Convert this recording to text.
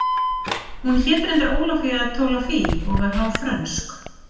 Hún hét reyndar Ólafía Tolafie og var hálf frönsk